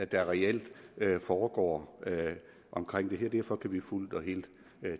der reelt foregår omkring det her derfor kan vi fuldt og helt